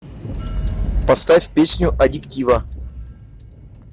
поставь песню адиктива